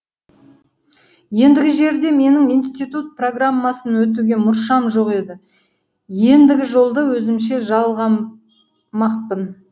ендігі жерде менің институт программасын өтуге мұршам жоқ еді ендігі жолды өзімше жалғамақпын